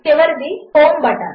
చివరిది home button